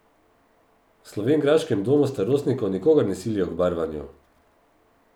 V slovenjgraškem domu starostnikov nikogar ne silijo k barvanju.